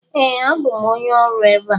Ee, abụ m onye ọrụ ebe a.